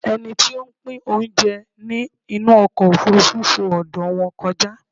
Ẹni tí o ń pín oúnjẹ ní inú ọkọ̀ òfurufú fo ọ̀dọ̀ wọn kọjá